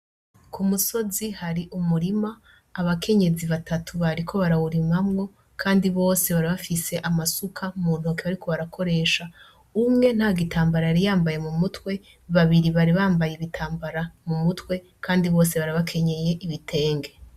Kumusozi hari umurima , abakenyezi batatu barawurimamwo kandi Bose bari bafise amasuka muntoke bariko barakoresha , umwe ntagitambara yari yambaye mumutwe, babiri bari bambaye ibitambara mumutwe Kandi bari bakenyeye ibitenge.